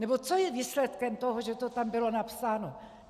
Nebo co je výsledkem toho, že to tam bylo napsáno?